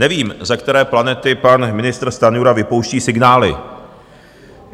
Nevím, ze které planety pan ministr Stanjura vypouští signály.